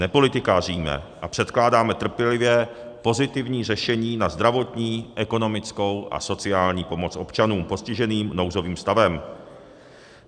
Nepolitikaříme a předkládáme trpělivě pozitivní řešení na zdravotní, ekonomickou a sociální pomoc občanům postiženým nouzovým stavem.